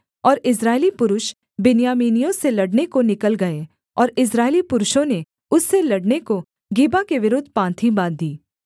और इस्राएली पुरुष बिन्यामीनियों से लड़ने को निकल गए और इस्राएली पुरुषों ने उससे लड़ने को गिबा के विरुद्ध पाँति बाँधी